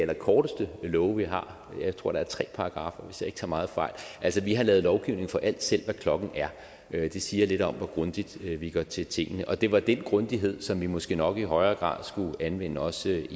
allerkorteste love vi har jeg tror der er tre paragraffer hvis jeg ikke tager meget fejl altså vi har lavet lovgivning for alt selv hvad klokken er det siger lidt om hvor grundigt vi går til tingene og det var den grundighed som vi måske nok i højere grad skulle anvende også